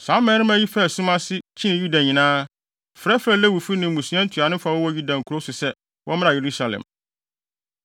Saa mmarima yi faa sum ase, kyinii Yuda nyinaa, frɛfrɛɛ Lewifo ne mmusua ntuanofo a wɔwɔ Yuda nkurow so sɛ, wɔmmra Yerusalem.